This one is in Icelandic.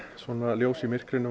ljós í myrkrinu